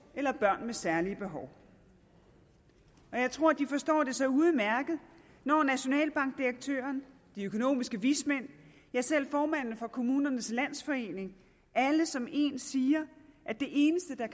eller børn med særlige behov jeg tror at de forstår det så udmærket når nationalbankdirektøren de økonomiske vismænd ja selv formanden for kommunernes landsforening alle som én siger at det eneste der